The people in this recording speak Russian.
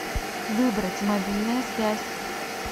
выбрать мобильная связь